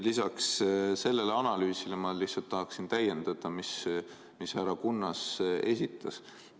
Lisaks sellele analüüsile ma lihtsalt tahaksin täiendada seda, mis härra Kunnas esitas.